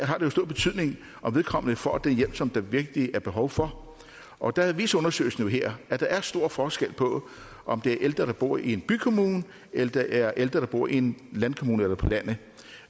har det stor betydning om vedkommende får den hjælp som der virkelig er behov for og der viser undersøgelsen her at der er stor forskel på om det er ældre der bor i en bykommune eller det er ældre der bor i en landkommune eller på landet